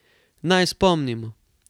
Naj spomnimo.